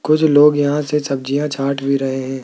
कुछ लोग यहां से सब्जियां छाठ भी रहे हैं।